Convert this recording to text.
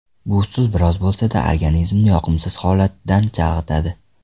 Bu usul biroz bo‘lsa-da organizmni yoqimsiz holatdan chalg‘itadi.